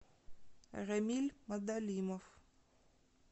рамиль мадалимов